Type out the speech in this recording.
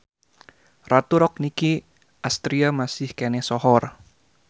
Ratu Rock Nicky Astria masih keneh sohor